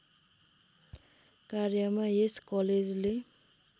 कार्यमा यस कलेजले